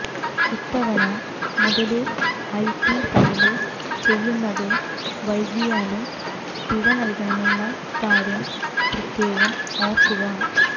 ഇത്തവണ മുതല് IT file ചെയ്യുന്നത് വൈകിയാല് പിഴ നല്കണമെന്ന കാര്യം പ്രത്യേകം ഓര്ക്കുക